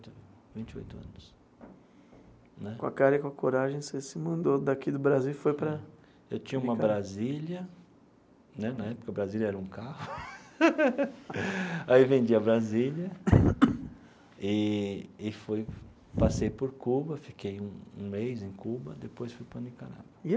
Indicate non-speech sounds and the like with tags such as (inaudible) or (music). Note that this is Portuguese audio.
Vinte oito anos né. Com a cara e com a coragem, você se mandou daqui do Brasil e foi para... Eu tinha uma Brasília, né, na época Brasília era um carro, (laughs) aí vendi a Brasília (coughs) e e fui passei por Cuba, fiquei um um mês em Cuba, depois fui para Nicarágua.